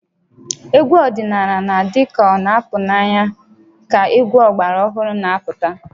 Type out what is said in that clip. Egwu ọdịnala na-adị ka ọ na-apụ n'anya ka egwu ọgbara ọhụrụ na-apụta